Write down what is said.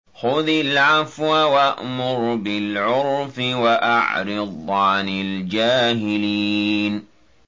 خُذِ الْعَفْوَ وَأْمُرْ بِالْعُرْفِ وَأَعْرِضْ عَنِ الْجَاهِلِينَ